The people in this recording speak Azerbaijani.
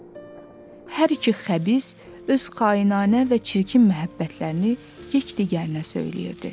Hər iki xəbis öz xainanə və çirkin məhəbbətlərini yekdigərinə söyləyirdi.